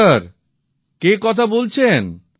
নমস্কার কে কথা বলছেন